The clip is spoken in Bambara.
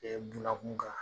bunakun kan